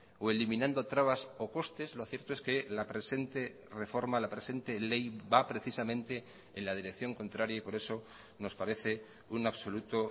o eliminando trabas o costes lo cierto es que la presente reforma la presente ley va precisamente en la dirección contraria y por eso nos parece un absoluto